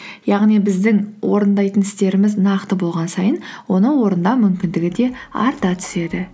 яғни біздің орындайтын істеріміз нақты болған сайын оны орындау мүмкіндігі де арта түседі